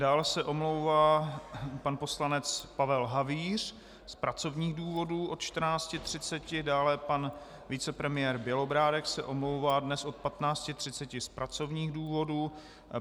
Dál se omlouvá pan poslanec Pavel Havíř z pracovních důvodů od 14.30, dále pan vicepremiér Bělobrádek se omlouvá dnes od 15.30 z pracovních důvodů.